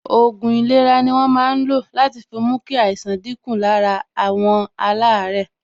Òògùn ìlera ni wọ́n máa ń lo láti fi mú kí àìsàn dín kù lára àwọn alaare